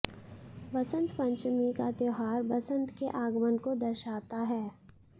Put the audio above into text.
बसंत पंचमी का त्योहार बसंत के आगमन को दर्शाता है